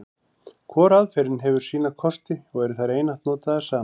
Hvor aðferðin hefur sína kosti, og eru þær einatt notaðar saman.